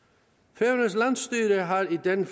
færøernes landsstyre har i den